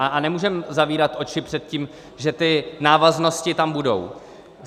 A nemůžeme zavírat oči před tím, že ty návaznosti tam budou.